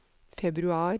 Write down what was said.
februar